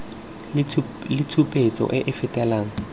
le tshupetso e e fetelang